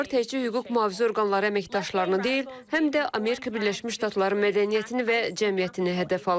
Bu hücumlar təkcə hüquq mühafizə orqanları əməkdaşlarını deyil, həm də Amerika Birləşmiş Ştatları mədəniyyətini və cəmiyyətini hədəf alıb.